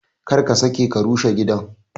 Kar ka sake ka rushe gidan!